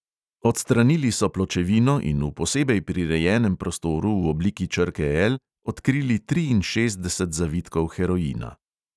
Odstranili so pločevino in v posebej prirejenem prostoru v obliki črke L odkrili triinšestdeset zavitkov heroina.